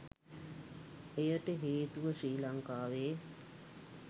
එයට හේතුව ශ්‍රී ලංකාවේ